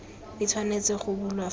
e tshwanetse go bulwa fa